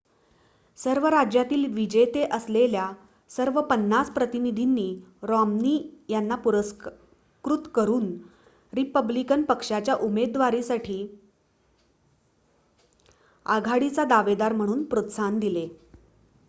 सर्व राज्यातील विजेते असलेल्या सर्व पन्नास प्रतिनिधींनी रॉम्नी यांना पुरस्कृत करून रिपब्लिकन पक्षाच्या उमेदवारीसाठी आघाडीचा दावेदार म्हणून प्रोत्साहन दिले